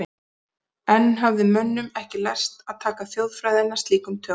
Enn hafði mönnum ekki lærst að taka þjóðfræðina slíkum tökum.